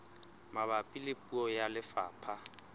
mabapi le puo tsa lefapha